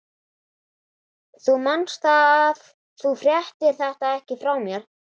Þú manst það, að þú fréttir þetta ekki frá mér.